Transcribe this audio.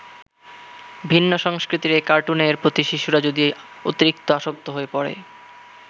ভিন্ন সংস্কৃতির এ কার্টুনের প্রতি শিশুরা যদি অতিরিক্ত আসক্ত হয়ে পড়ে।